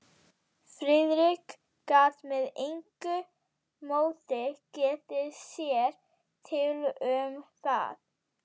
Friðrik gat með engu móti getið sér til um það.